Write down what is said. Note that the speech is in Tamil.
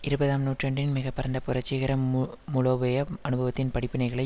இருபதாம் நூற்றாண்டின் மிக பரந்த புரட்சிகர மூ மூலோபய அனுபவத்தின் படிப்பினைகளை